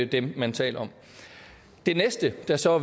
dem man taler om det næste der så